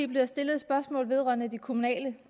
blev der stillet et spørgsmål vedrørende de kommunale